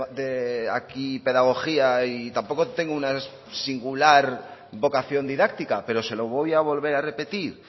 de aquí pedagogía y tampoco tengo una singular vocación didáctica pero se lo voy a volver a repetir